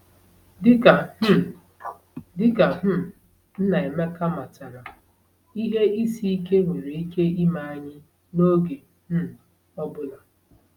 Dị ka um Dị ka um Nnaemeka matara, ihe isi ike nwere ike ime anyị n’oge um ọ bụla.